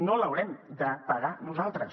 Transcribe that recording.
no l’haurem de pagar nosaltres